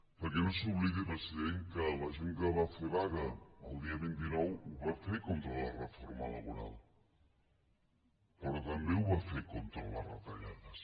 perquè no s’oblidi president que la gent que va fer vaga el dia vint nou la va fer contra la reforma laboral però també la va fer contra les retallades